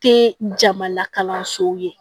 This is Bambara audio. Te jama la kalansow ye